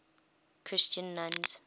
christian nuns